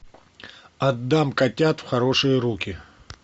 отдам котят в хорошие руки